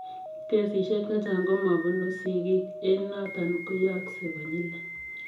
Kesisiek chechang komapunuu sigiik eng notok koyooksei konyilei.